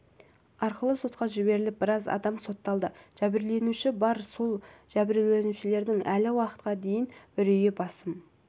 арқылы сотқа жіберіліп біраз адам сотталды жәбірленуші бар сол жәбірленушілердің әлі уақытқа дейін үрейі басым